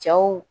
Cɛw